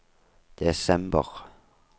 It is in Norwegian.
desember